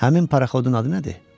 Həmin paraxodun adı nədir?